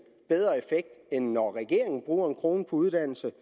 bedre effekt end når regeringen bruger en kroner på uddannelse